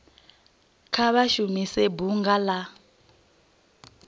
kha vha shumise bunga la